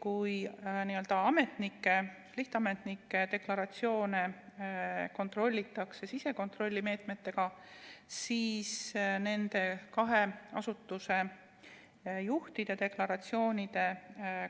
Kuid lihtametnike deklaratsioone kontrollitakse sisekontrolli meetmena, seevastu nende kahe asutuse juhi deklaratsioonide